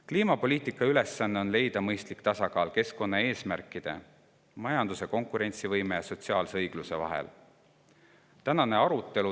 Kliimapoliitika ülesanne on leida mõistlik tasakaal keskkonnaeesmärkide, majanduse konkurentsivõime ja sotsiaalse õigluse vahel.